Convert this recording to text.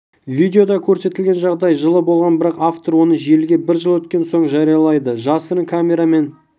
видеода көрсетілген жағдай жылы болған бірақ автор оны желіге бір жыл өткен соң жариялайды жасырын камерамен